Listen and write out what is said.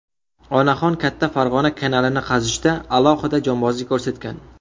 Onaxon Katta Farg‘ona kanalini qazishda alohida jonbozlik ko‘rsatgan.